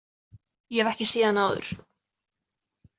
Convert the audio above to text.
Ég hef ekki séð hana áður.